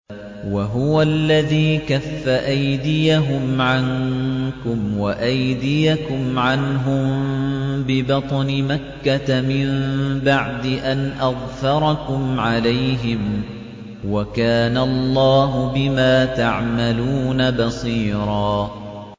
وَهُوَ الَّذِي كَفَّ أَيْدِيَهُمْ عَنكُمْ وَأَيْدِيَكُمْ عَنْهُم بِبَطْنِ مَكَّةَ مِن بَعْدِ أَنْ أَظْفَرَكُمْ عَلَيْهِمْ ۚ وَكَانَ اللَّهُ بِمَا تَعْمَلُونَ بَصِيرًا